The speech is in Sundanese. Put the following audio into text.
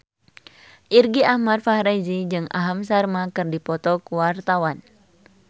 Irgi Ahmad Fahrezi jeung Aham Sharma keur dipoto ku wartawan